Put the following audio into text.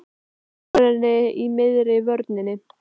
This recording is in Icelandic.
Hvernig líkar henni í miðri vörninni?